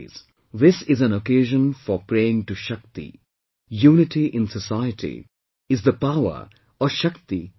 This is an occasion for praying to SHAKTI, Unity in society is the power or SHAKTI of the country